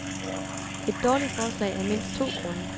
Et dårligt forslag af mindst to grunde.